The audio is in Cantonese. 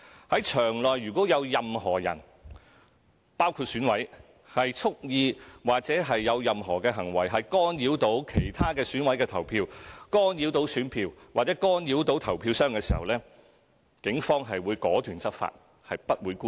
在場內如果有任何人蓄意或有任何行為干擾其他選委投票、干擾選票或干擾投票箱，警方會果斷執法，不會姑息。